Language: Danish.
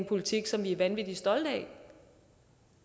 politik som vi er vanvittig stolte af